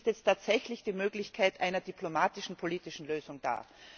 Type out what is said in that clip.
Jetzt ist tatsächlich die Möglichkeit einer diplomatischen politischen Lösung da.